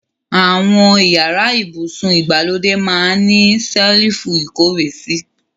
Awon iyara ibusun igbalode maa n ni selifu ikowesi